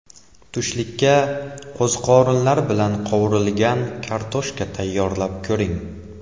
Tushlikka qo‘ziqorinlar bilan qovurilgan kartoshka tayyorlab ko‘ring.